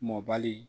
Mɔbali